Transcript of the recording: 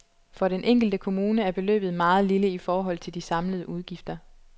For den enkelte kommune er beløbet meget lille i forhold til de samlede udgifter.